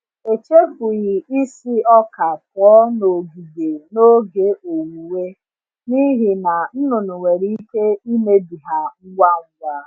Echefughị isi ọka pụọ n’ogige n’oge owuwe, n’ihi na nnụnụ nwere ike imebi ha ngwa ngwa.